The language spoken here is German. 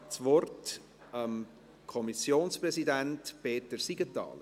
Ich gebe das Wort dem Kommissionspräsidenten, Peter Siegenthaler.